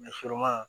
sɔrɔma